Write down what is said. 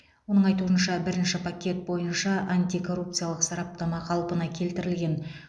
оның айтуынша бірінші пакет бойынша антикоррупциялық сараптама қалпына келтірілген